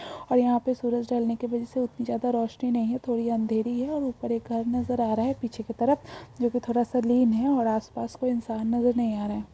और यहा पर सूरज ढल ने की वजह से उतनी ज्यादा रोशनी नहीं है थोड़ी अंधेरी है और उपर एक घर नजर आ रहा है पीछे की तरफ जो थोड़ा सा लील है जो आस-पास कोई इंसान नजर नहीं आ रहा।